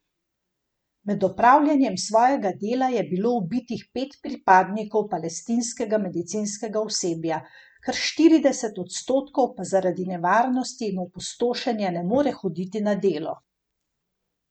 Med opravljanjem svojega dela je bilo ubitih pet pripadnikov palestinskega medicinskega osebja, kar štirideset odstotkov pa zaradi nevarnosti in opustošenja ne more hoditi na delo.